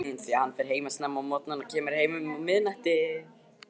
Hann fer að heiman snemma á morgnana og kemur heim um miðnætti.